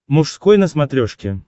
мужской на смотрешке